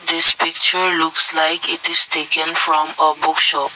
this picture looks like it is taken from a book shop.